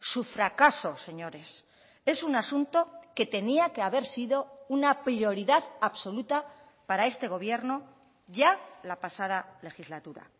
su fracaso señores es un asunto que tenía que haber sido una prioridad absoluta para este gobierno ya la pasada legislatura